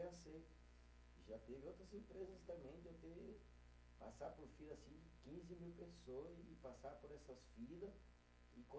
aceito. Já teve outras empresas também, de eu ter que passar por fila assim de quinze mil pessoa e e passar por essas fila e